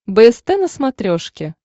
бст на смотрешке